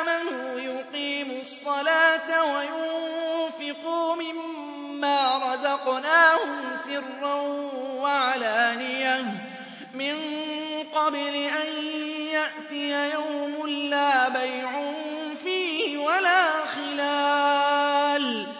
آمَنُوا يُقِيمُوا الصَّلَاةَ وَيُنفِقُوا مِمَّا رَزَقْنَاهُمْ سِرًّا وَعَلَانِيَةً مِّن قَبْلِ أَن يَأْتِيَ يَوْمٌ لَّا بَيْعٌ فِيهِ وَلَا خِلَالٌ